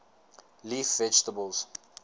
leaf vegetables